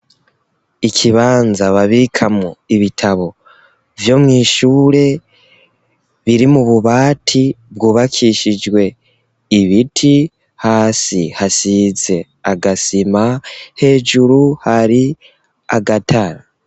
Ikibanza babikamwo ibitabo vyo mw'ishure, biri mu bubati bwubakishijwe ibiti, hasi hasize agasima hejuru hari agatara.